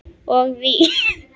Og vín.